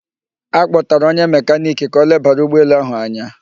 A kpọtạrạ onye mekaniki ka o lebara ụgbọ elu ahụ anya